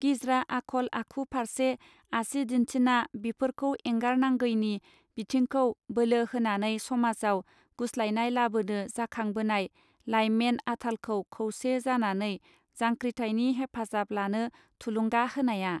गिज्रा आखल आखु फार्से आसि दिन्थिना बिफोरखौ एंगार नांगैनि बिथिंखौ बोलो होनानै समाजाव गुस्लायनाय लाबोनो जाखांबोनाय लाइमेन आथालखौ खौसे जानानै जांखृथायनि हेफाजाब लानो थुलुंगा होनाया.